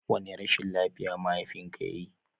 Wani rashin lafiya mahafinka yayi?